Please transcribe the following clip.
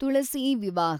Tulasi Vivah